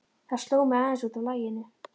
Það sló mig aðeins út af laginu.